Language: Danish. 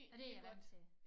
Og det jeg vant til